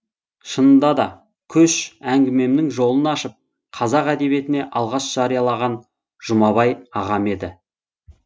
шынында да көш әңгімемнің жолын ашып қазақ әдебиетіне алғаш жариялаған жұмабай ағам еді